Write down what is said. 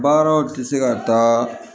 Baaraw tɛ se ka taa